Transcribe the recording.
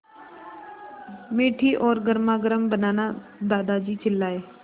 मीठी और गर्मागर्म बनाना दादाजी चिल्लाए